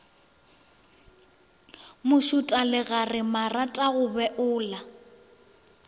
mašota legare marata go beola